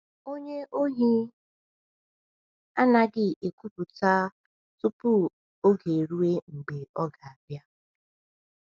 onye Ohi anaghị ekwupụta tupu oge eruo mgbe ọ ga-abịa.